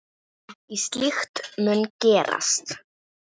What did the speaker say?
En ekkert slíkt mun gerast.